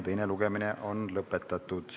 Teine lugemine on lõppenud.